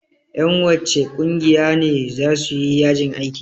Ƴan wacce ƙungiya ne za su yi yajin aiki?